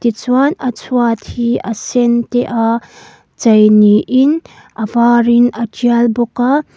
tichuan a chhuat hi a sen te a chei niin a var in a tial bawk a.